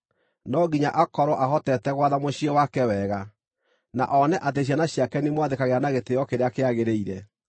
No nginya akorwo ahotete gwatha mũciĩ wake wega, na one atĩ ciana ciake nĩimwathĩkagĩra na gĩtĩĩo kĩrĩa kĩagĩrĩire.